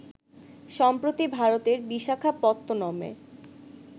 সম্প্রতি ভারতের বিশাখাপত্তনমে